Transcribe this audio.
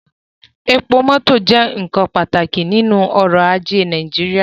Epo mọtọ jẹ nkan pataki ninu ọrọ-aje Naijiria